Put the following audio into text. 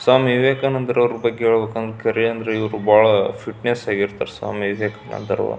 ಸ್ವಾಮಿ ವಿವೇಕಾನಂದರವರ ಬಗ್ಗೆ ಹೇಳಬೇಕೆಂದರೆ ಇವರು ಬಾಳ ಫಿಟ್ನೆಸ್ ಆಗಿ ಇರ್ತಾರೆ ಸ್ವಾಮಿ ವಿವೇಕಾನಂದರು.